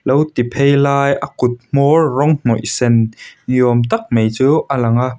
lo ti phei lai a kut hmawr rawng hnawih sen niawm tak mai chu a lang a.